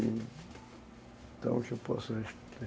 Então, o que eu posso responder?